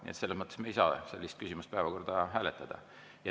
Nii et selles mõttes ei saa me sellist küsimust päevakorda hääletada.